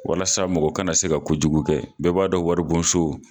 Walasa mɔgɔ kana se ka kojugu kɛ bɛɛ b'a dɔn waribonso